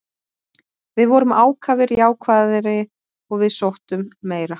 Við vorum ákafari, jákvæðari og við sóttum meira.